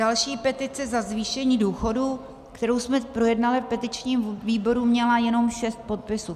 Další, petice za zvýšení důchodů, kterou jsme projednali v petičním výboru, měla jenom 6 podpisů.